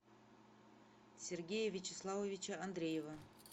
сергея вячеславовича андреева